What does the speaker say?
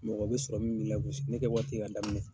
Mɔgɔ bɛ sɔrɔ min b'i lagosi ne kɛ waati k'a daminɛ.